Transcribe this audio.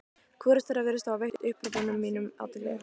Hvorugt þeirra virðist hafa veitt upphrópunum mínum athygli.